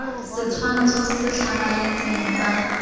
setshwantsho se se tlhamaletseng sa